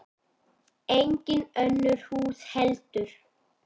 Engin önnur hús heldur.